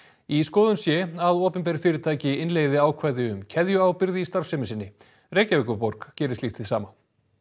í skoðun sé að opinber fyrirtæki innleiði ákvæði um keðjuábyrgð í starfsemi sinni Reykjavíkurborg gerir slíkt hið sama